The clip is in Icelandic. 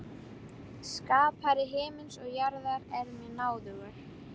Skapari himins og jarðar er mér náðugur.